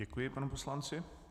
Děkuji panu poslanci.